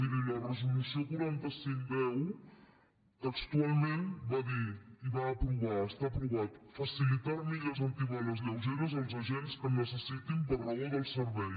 miri la resolució quaranta cinc x textualment va dir i va aprovar està aprovat facilitar armilles antibales lleugeres als agents que en necessitin per raó del servei